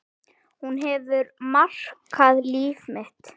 Hún hefur markað líf mitt.